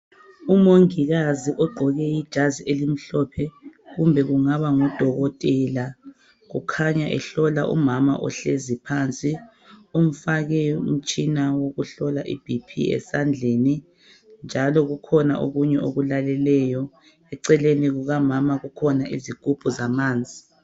Umongikazi ogqoke ijazi elimhlophe kumbe kungaba ngudokotela kukhanya ehlola umama ohlezi phansi Umfake umtshina wokuhlola i BP esandleni njalo kukhona okunye okulaleleyo .Eceleni kukamama kukhona izigubhu zamanzi